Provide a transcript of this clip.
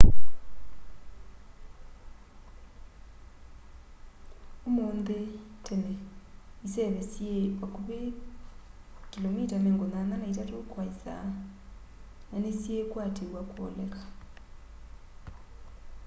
ũmũnthĩ tene iseve syĩĩ vakũvĩ 83km/h na nĩsyĩĩkwatĩw'a kũoleka